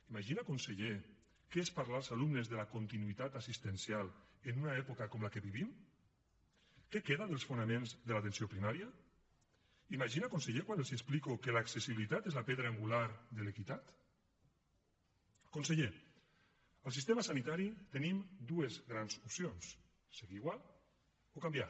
imagina conseller què és parlar als alumnes de la continuïtat assistencial en una època com la que vivim què queda dels fonaments de l’atenció primària imagina conseller quan els explico que l’accessibilitat és la pedra angular de l’equitat conseller en el sistema sanitari tenim dues grans opcions seguir igual o canviar